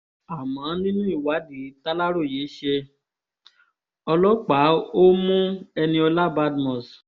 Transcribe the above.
àmọ́ nínú ìwádìí tàlàròyé ṣe ọlọ́pàá ó mú eniola badmus